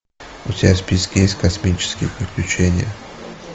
у тебя в списке есть космические приключения